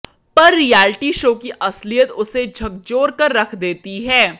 पर reality show की असलियत उसे झकझोर कर रख देती है